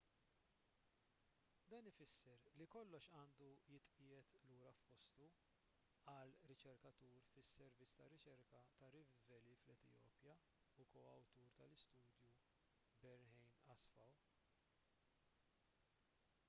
dan ifisser li kollox għandu jitqiegħed lura f'postu qal riċerkatur fis-servizz ta' riċerka ta' rift valley fl-etjopja u ko-awtur tal-istudju berhane asfaw